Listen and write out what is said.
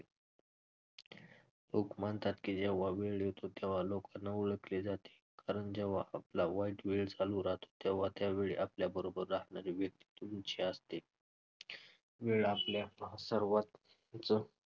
लोक मानतात की जेव्हा वेळ येतो तेव्हा लोकांना ओळखले जाते कारण जेव्हा आपला वाईट वेळ चालू राहतो तेव्हा त्यावेळी आपल्याबरोबर असणारी व्यक्ती तुमची असते. वेळ आपल्या सर्वां~ च